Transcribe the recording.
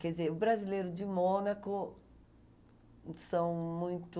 Quer dizer, o brasileiro de Mônaco são muito...